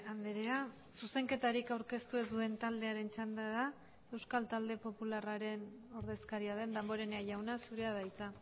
andrea zuzenketarik aurkeztu ez duen taldearen txanda da euskal talde popularraren ordezkaria den damborenea jauna zurea da hitza